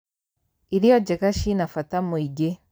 Irio njega cina bata mwĩingĩ.